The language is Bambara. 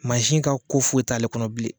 ka ko foyi t'ale kɔnɔ bilen.